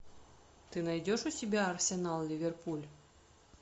ты найдешь у себя арсенал ливерпуль